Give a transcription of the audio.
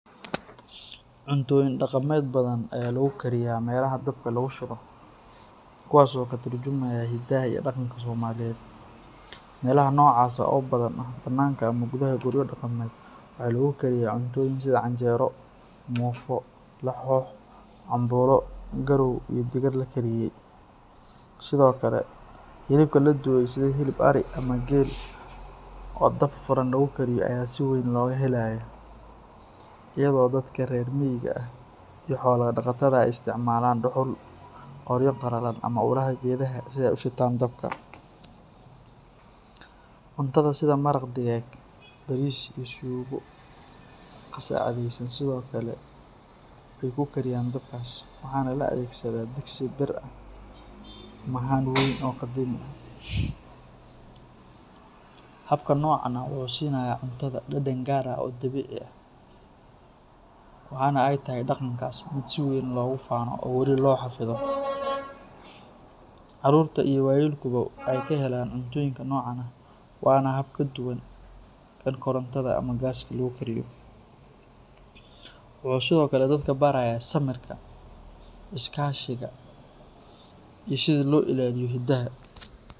Cuntooyin dhaqameed badan ayaa lagu kariyaa meelaha dabka lagu shido, kuwaas oo ka tarjumaya hiddaha iyo dhaqanka Soomaaliyeed. Meelaha noocaas ah, oo badanaa ah banaanka ama gudaha guryo dhaqameed, waxa lagu kariyaa cuntooyin sida canjeero, muufo, laxoox, cambuulo, garow, iyo digir la kariyey. Sidoo kale, hilibka la dubay sida hilib ari ama geel oo dab furan lagu kariyo ayaa si weyn looga helaa, iyadoo dadka reer miyiga ah iyo xoolo dhaqatada ay isticmaalaan dhuxul, qoryo qallalan ama ulaha geedaha si ay u shitaan dabka. Cuntada sida maraq digaag, bariis iyo suugo qasacadaysan sidoo kale way ku kariyaan dabkaas, waxaana la adeegsadaa digsi bir ah ama haan weyn oo qadiimi ah. Habka noocan ah wuxuu siinayaa cuntada dhadhan gaar ah oo dabiici ah, waxaana ay tahay dhaqankaas mid si weyn loogu faano oo weli loo xafido. Carruurta iyo waayeelkuba waxay ka helaan cuntooyinka noocan ah, waana hab ka duwan kan korontada ama gaaska lagu kariyo. Wuxuu sidoo kale dadka barayaa samirka, is-kaashiga iyo sida loo ilaaliyo hiddaha.